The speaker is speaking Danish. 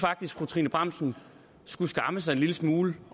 fru trine bramsen skulle skamme sig en lille smule